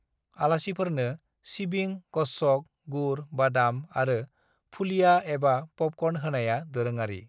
"आलासिफोरनो सिबिं, गच्छक, गुर, बादाम आरो फुलिया एबा पपकर्न होनाया दोरोङारि।"